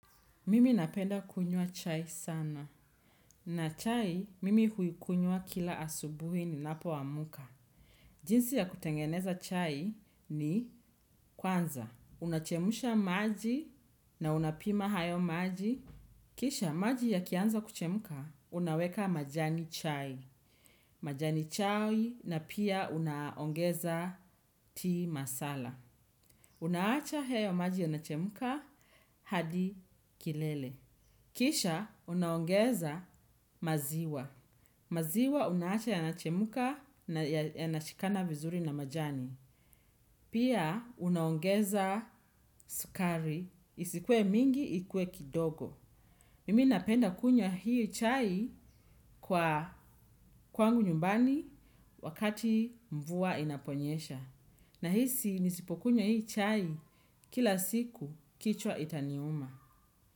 Mimi napenda kunywa chai sana. Na chai, mimi huikunywa kila asubuhi ninapoamka. Jinsi ya kutengeneza chai ni kwanza. Unachemsha maji na unapima hayo maji. Kisha, maji ya kianza kuchemuka, unaweka majani chai. Majani chai na pia unaongeza tea masala. Unaacha hayo maji yanachemka, hadi kilele. Kisha, unaongeza maziwa. Maziwa, unaacha yanachemka na yanashikana vizuri na majani. Pia, unaongeza sukari. Isikue mingi, ikue kidogo. Mimi napenda kunywa hii chai kwa kwangu nyumbani wakati mvua inaponyesha. Nahisi, nisipokunywa hii chai kila siku kichwa itaniuma.